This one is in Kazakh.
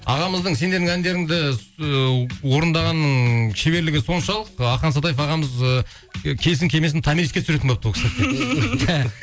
ағамыздың сендердің әндеріңді орындағанның шеберлігі соншалық ы ахан сатаев ағамыз ы келсін келмесін томириске түсіретін болыпты ол кісіні